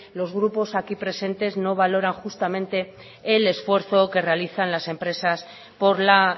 los grupos aquí presentes no valoran justamente el esfuerzo que realizan las empresas por la